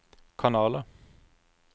kanaler